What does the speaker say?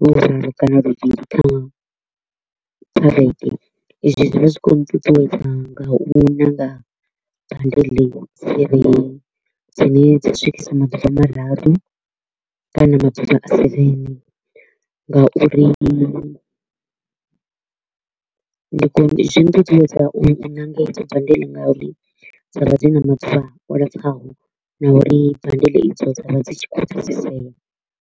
luraru kana luthihi kha vhege, izwi zwi vha zwi kho u nṱuṱuwedza nga u ṋanga bundle dzine dza swikisa maḓuvha mararu kana maḓuvha a seven nga uri ndi zwi nṱuṱuwedza u ṋanga hedzo bundle nga uri dza vha dzi na maḓuvha o lapfaho na uri bundle i dzo dza vha dzi tshi kho u pfesesea.